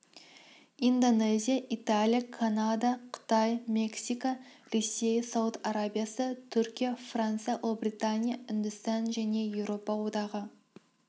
индонезия италия канада қытай мексика ресей сауд арабиясы түркия франция ұлыбритания үндістан және еуропа одағы